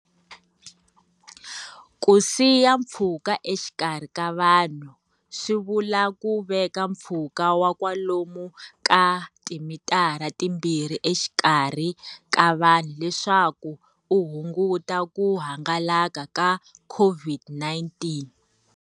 Ku siya mpfhuka exikarhi ka vanhu swi vula ku veka pfhuka wa kwalomuya ka timitara timbirhi exikarhi ka vanhu leswaku u hunguta ku hangalaka ka COVID-19.